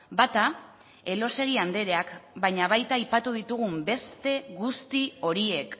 bata elósegui andreak baina baita aipatu ditugun beste guzti horiek